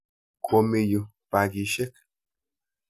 Komi yu pakisyek.